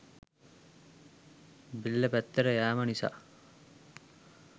බෙල්ල පැත්තට යෑම නිසා